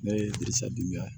Ne ye bisajamu ye